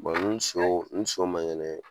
ni soo ni so ma ŋɛnɛ